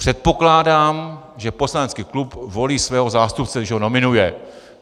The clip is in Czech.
Předpokládám, že poslanecký klub volí svého zástupce, když ho nominuje.